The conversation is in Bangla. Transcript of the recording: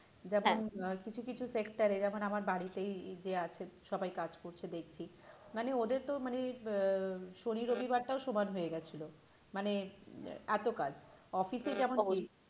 যেমন হ্যাঁ কিছু কিছু sector এ যেমন আমার বাড়িতেই যে আছেন সবাই কাজ করছে দেখছি মানে ওদের তো মানে আহ শনি, রবি বারটাও সমান হয়ে গিয়েছিল মানে এত কাজ office এ যেমন